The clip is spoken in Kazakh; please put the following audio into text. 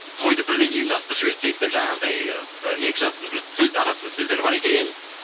тойды бірден ұйымдастырып жіберсек деп жаңағындай екі жастың бір сөз арасында сөздері бар екен